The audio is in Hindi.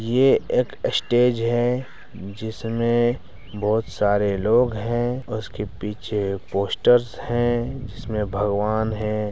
ये एक स्टेज है जिसमें बोहोत सारे लोग हैं उसके पीछे पोस्टर्स हैं जिसमें भगवान हैं ।